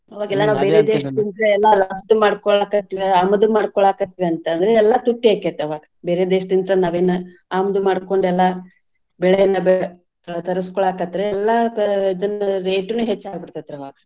ದೇಶದಿಂದ ಎಲ್ಲಾ ಮಾಡ್ಕೊಳಾಕತ್ವಿ ಆಮದು ಮಾಡ್ಕೊಳಾಕತ್ವಿ ಅಂತಂದ್ರ ಎಲ್ಲಾ ತುಟ್ಟಿ ಆಕ್ಕೆತಿ ಅವಾಗ್ ಬೇರೆ ದೇಶದಿಂದ ತಂದ್ ನಾವೆನ ಆಮದು ಮಾಡ್ಕೊಂದೆಲ್ಲಾ ಬೆಳೆಯನ್ನ ಬೆಳ್~ ಎಲ್ಲಾ ತರುಸ್ಕೊಳಕತ್ರೆ ಎಲ್ಲಾ ತ~ ಇದುನ್ನು rate ನು ಹೆಚ್ಚ್ ಆಗಿಬಿಡ್ತೇತ್ರಿ ಆವಾಗ.